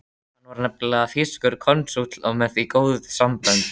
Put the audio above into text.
Hann var nefnilega þýskur konsúll og því með góð sambönd.